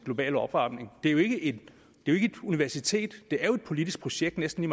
er jo ikke et universitet det er jo et politisk projekt næsten